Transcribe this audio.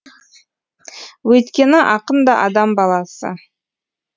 өйткені ақын да адам баласы